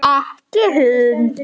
Ekki hund!